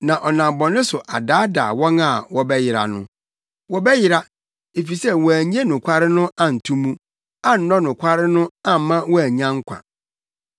na ɔnam bɔne so adaadaa wɔn a wɔbɛyera no. Wɔbɛyera, efisɛ wɔannye nokware no anto mu, annɔ nokware no amma wɔannya nkwa.